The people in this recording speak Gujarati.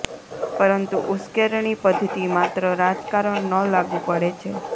પરંતુ ઉશ્કેરણી પદ્ધતિ માત્ર રાજકારણ ન લાગુ પડે છે